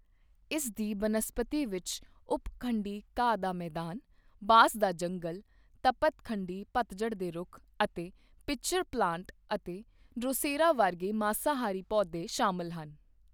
ਇਸ ਦੀ ਬਨਸਪਤੀ ਵਿੱਚ ਉੱਪ ਖੰਡੀ ਘਾਹ ਦਾ ਮੈਦਾਨ, ਬਾਂਸ ਦਾ ਜੰਗਲ, ਤਪਤ ਖੰਡੀ ਪਤਝੜ ਦੇ ਰੁੱਖ ਅਤੇ ਪਿੱਚਰ ਪਲਾਂਟ ਅਤੇ ਡ੍ਰੋਸੇਰਾ ਵਰਗੇ ਮਾਂਸਾਹਾਰੀ ਪੌਦੇ ਸ਼ਾਮਲ ਹਨ।